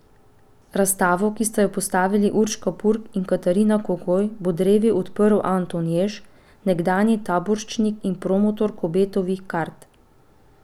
Razstavo, ki sta jo postavili Urška Purg in Katarina Kogoj, bo drevi odprl Anton Jež, nekdanji taboriščnik in promotor Kobetovih kart.